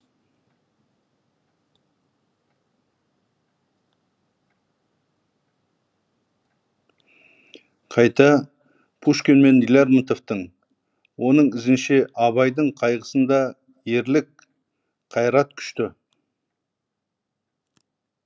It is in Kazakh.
қайта пушкин мен лермонтовтың оның ізінше абайдың қайғысында ерлік қайрат күшті